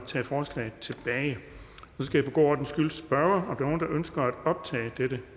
skal for god ordens skyld spørge om nogen ønsker at optage dette